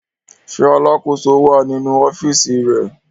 Ṣé alákòóso wà nínú ọ́fíísì rẹ̀?